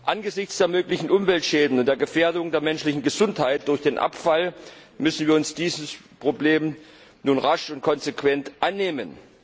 Angesichts der möglichen Umweltschäden und der Gefährdung der menschlichen Gesundheit durch den Abfall müssen wir uns dieses Problems nun rasch und konsequent annehmen.